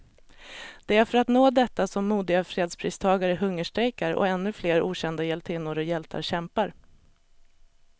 Det är för att nå detta som modiga fredspristagare hungerstrejkar, och ännu flera okända hjältinnor och hjältar kämpar.